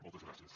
moltes gràcies